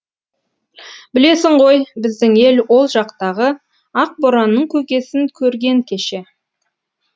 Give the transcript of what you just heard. білесің ғой біздің ел ол жақтағы ақ боранның көкесін көрген кеше